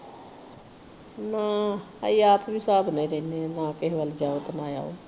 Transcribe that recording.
ਨਾ ਅਸੀ ਆਪ ਵੀ ਹਿਸਾਬ ਨਾਲ ਰਹਿੰਦੇ ਹਾਂ। ਨਾ ਕਿਸੇ ਵੱਲ ਜਾਉ ਤੇ ਨਾ ਆਉ।